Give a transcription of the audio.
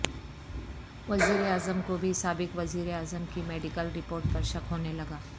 وزیر اعظم کو بھی سابق وزیر اعظم کی میڈیکل رپورٹس پر شک ہونے لگا